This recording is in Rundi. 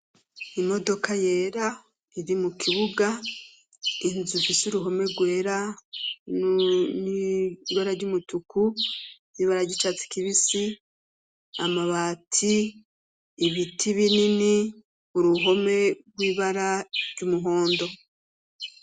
Imodoka yera iri mu kibuga inzu fise uruhome rwera nn'ibara ry'umutuku b'ibara ryicatsi kibisi amabati ibiti binini uruhome rw'ibara ry'umuhondo.